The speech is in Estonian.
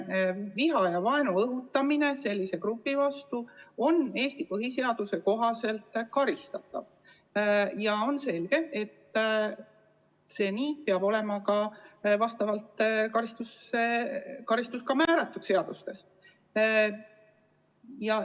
Viha ja vaenu õhutamine sellise grupi vastu on Eesti põhiseaduse kohaselt karistatav ning on selge, et selle eest peab olema seadustes määratud ka vastav karistus.